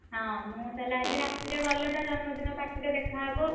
ହଁ ମୁଁ ତାଲେ ଆଜି ରାତିରେ ଗଲେ ତା ଜନ୍ମଦିନ party ରେ ଦେଖାହବ।